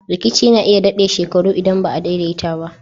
Rikici na iya dade shekaru idan ba'a daidaita ba.